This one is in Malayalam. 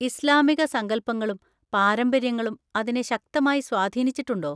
ഇസ്ലാമിക സങ്കൽപ്പങ്ങളും പാരമ്പര്യങ്ങളും അതിനെ ശക്തമായി സ്വാധീനിച്ചിട്ടുണ്ടോ?